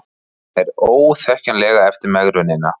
Nær óþekkjanlegur eftir megrunina